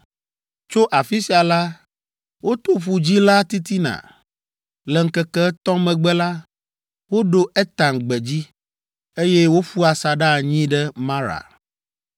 Tso afi sia la, woto Ƒu Dzĩ la titina. Le ŋkeke etɔ̃ megbe la, woɖo Etam gbedzi, eye woƒu asaɖa anyi ɖe Mara.